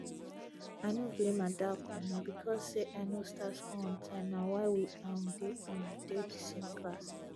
i no blame adaku na because say i no start school on time na why we um dey um dey the same class